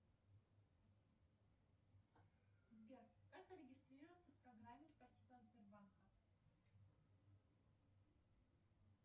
сбер как зарегистрироваться в программе спасибо от сбербанка